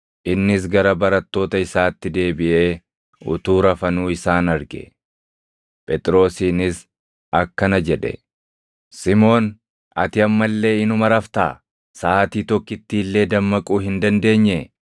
Innis gara barattoota isaatti deebiʼee utuu rafanuu isaan arge. Phexrosiinis akkana jedhe; “Simoon, ati amma illee inuma raftaa? Saʼaatii tokkittii illee dammaquu hin dandeenyee?